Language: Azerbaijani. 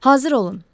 Hazır olun.